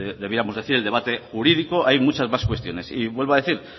debiéramos decir que en el debate jurídico hay muchas más cuestiones y vuelvo a decir